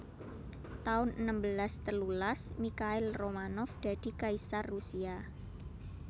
taun enem belas telulas Mikhail Romanov dadi kaisar Rusia